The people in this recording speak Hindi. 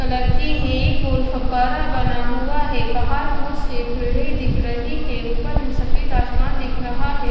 कलर की है एक गोल फब्बारा बना हुआ है बाहर बहुत से पेड़े दिख रहे हैं ऊपर नि सफेद आसमान दिख रहा है।